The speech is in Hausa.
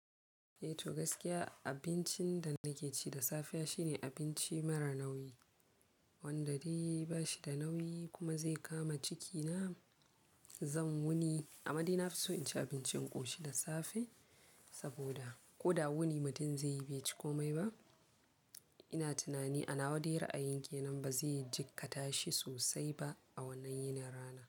Eh to gaskiya abincin da nake ci da safe shine abinci mara nauyi, wanda dai ba shi da nauyi kuma zai kama cikina. Zan wuni, amade ina so in ci abincin ƙoshi da safe saboda ko da wuni mutum zai yi bai ci komai ba. Ina tunani ana wa dai ra'ayin ke nan ba zai jikkata shi sosai ba a wannan yinar rana.